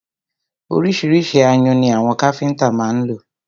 Ọríṣiríṣi ayùn ni àwọn káfíńńtà má ń lò.